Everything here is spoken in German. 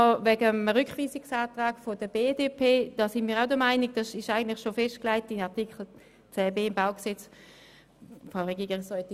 Den Rückweisungsantrag der BDP würden wir auch lieber zurückweisen, denn er ist eigentlich schon in Artikel 10b BauG festgelegt.